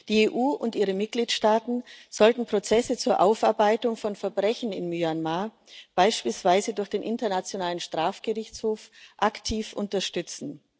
Die EU und ihre Mitgliedstaaten sollten Prozesse zur Aufarbeitung von Verbrechen in Myanmar beispielsweise durch den Internationalen Strafgerichtshof aktiv unterstützen.